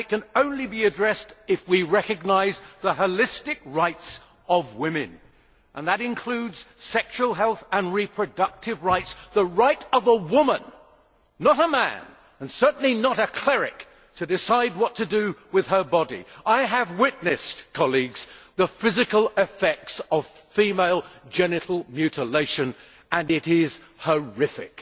It can be addressed only if we recognise the holistic rights of women, including sexual health and reproductive rights the right of a woman, not a man and certainly not a cleric, to decide what to do with her body. I have witnessed the physical effects of female genital mutilation and they are horrific.